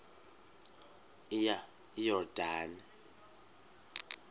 iyordane